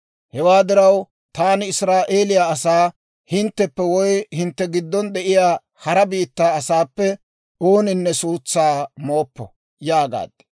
Hewaa diraw taani Israa'eeliyaa asaa, «Hintteppe woy hintte giddon de'iyaa hara biittaa asaappe ooninne suutsaa mooppo» yaagaad.